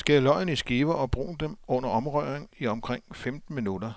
Skær løgene i skiver og brun dem under omrøring i omkring femten minutter.